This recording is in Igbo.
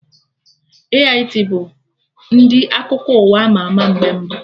AIT bụ ndị akụkọ ụwa ama ama mgbe mbụ